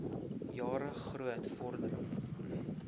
jare groot vordering